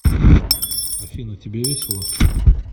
афина тебе весело